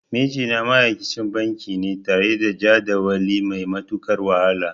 Mijina ma'aikacin banki ne tare da jadawali mai matuƙar wahala.